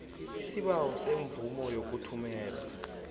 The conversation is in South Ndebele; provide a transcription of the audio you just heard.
isibawo semvumo yokuthumela